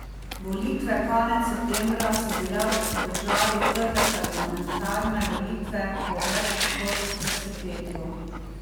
Volitve konec septembra so bile v državi prve parlamentarne volitve po več kot desetletju.